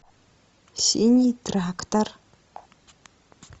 синий трактор